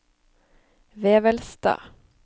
Vevelstad